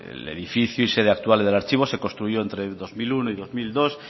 el edificio y sede actual del archivo se construyó entre dos mil uno y dos mil dos